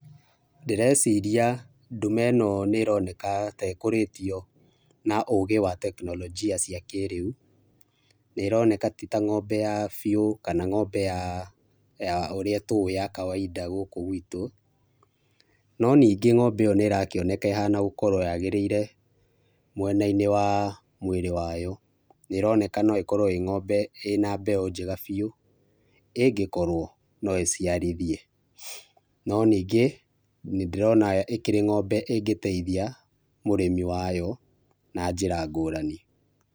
Ndĩreciria ndume ĩno nĩroneka ta ĩkũrĩtio na ũgĩ wa tekinoronjia cia kĩrĩu, nĩroneka ti ta ng'ombe ya biũ kana ng'ombe ya, ya ũrĩa tũĩ ya kawaida gũkũ gwitũ, no ningĩ ng'ombe ĩyo nĩrakĩoneka ĩhana gũkorwo ya gĩrĩire mwena-inĩ wa mwĩrĩ wayo, nĩroneka no ĩkorwo ĩĩ ng'ombe ĩna mbeũ njega biũ ĩngĩkorwo no iciarithie, no ningĩ nĩndĩrona ĩkĩrĩ ng'ombe ĩngĩteithia mũrĩmi wayo na njĩra ngũrani.